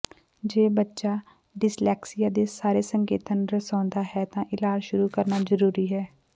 ਜੇ ਬੱਚਾ ਡਿਸਲੈਕਸੀਆ ਦੇ ਸਾਰੇ ਸੰਕੇਤਾਂ ਨੂੰ ਦਰਸਾਉਂਦਾ ਹੈ ਤਾਂ ਇਲਾਜ ਸ਼ੁਰੂ ਕਰਨਾ ਜ਼ਰੂਰੀ ਹੈ